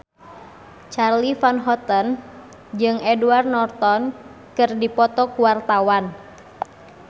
Charly Van Houten jeung Edward Norton keur dipoto ku wartawan